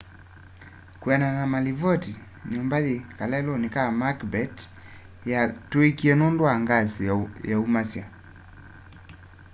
kwianana na malivoti nyumba yi kaleluni ka macbeth yatuikie nundu wa ngasi yaumasya